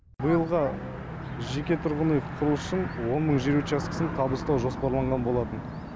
биылға жеке тұрғын үй құрылысы үшін он мың жер учаскесін табыстау жоспарланған болатын